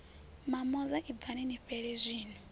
mamoza ibvani ni fhele zwino